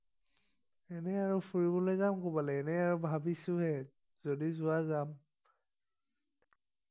এনেই আৰু ফুৰিবলে যাম কৰবালে এনেই আৰু ভাবিছো হে যদি যোৱা যাম